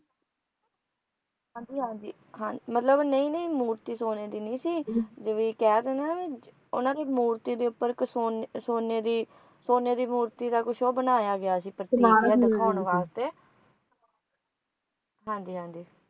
ਹਾਂ ਜੀ ਹਾਂ ਜੀ ਮਤਲਬ ਨਹੀਂ ਨਹੀਂ ਮੂਰਤੀ ਸੋਨੇ ਦੀ ਨਹੀਂ ਸੀ ਵੀ ਕਹਿ ਦੇਣ ਉਨ੍ਹਾਂ ਦੀ ਮੂਰਤੀ ਦੇ ਉੱਪਰ ਇੱਕ ਸੋਨੇ ਸੋਨੇ ਦੀ ਸੋਨੇ ਦੀ ਮੂਰਤੀ ਦਾ ਕੁਝ ਓਹੋ ਬਣਾਇਆ ਗਿਆ ਸੀ ਦਿਖਾਉਣ ਵਾਸਤੇ ਹਾਂ ਜੀ ਹਾਂ ਜੀ